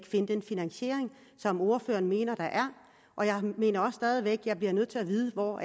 finde den finansiering som ordføreren mener der er og jeg mener stadig væk at jeg bliver nødt til at vide hvor